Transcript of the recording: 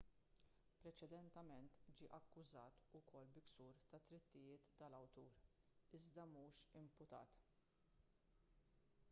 preċedentement ġie akkużat ukoll bi ksur tad-drittijiet tal-awtur iżda mhux imputat